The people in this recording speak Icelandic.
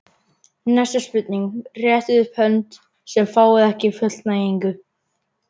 Næsta spurning: Réttið upp hönd sem fáið ekki fullnægingu.